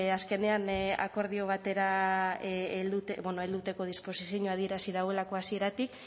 azkenean akordio batera heltzeko disposizio adierazi duelako hasieratik